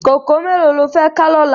Kókòó méló ló fè ká lòlá?